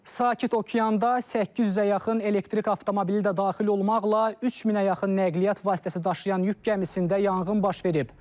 Sakit Okeanda 800-ə yaxın elektrik avtomobili də daxil olmaqla 3000-ə yaxın nəqliyyat vasitəsi daşıyan yük gəmisində yanğın baş verib.